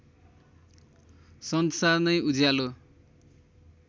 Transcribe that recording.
संसार नै उज्यालो